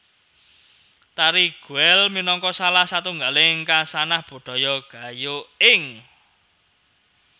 Tari Guel minangka salah satunggaling khasanah budaya Gayo ing